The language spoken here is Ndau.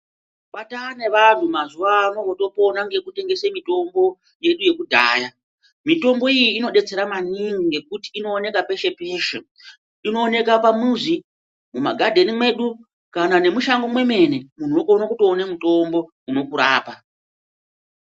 Kwataa nevanhu mazuwa ano votopona nekutengese mutombo yedu yekudhaya mitombo iyi inodetsera maningi ngokuti inooneka peshe peshe inooneka pamuzi mumagadheni mwedu kana nemushango mwemene munhu unokone kutoone mutombo unokurapa.